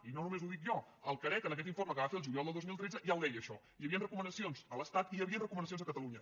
i no només ho dic jo el carec en aquest informe que va fer el juliol del dos mil tretze ja ho deia això hi havien recomanacions a l’estat i hi havi·en recomanacions a catalunya